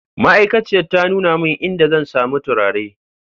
Ma'aikaciyar ta nuna min idan zan sami turare